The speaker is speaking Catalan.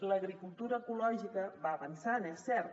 l’agricultura ecològica va avançant és cert